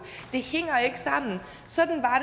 det hænger ikke sammen sådan var